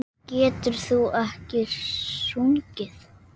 En getur þú ekkert sungið?